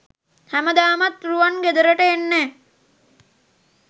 හැමදාමත් රුවන් ගෙදරට එන්නේ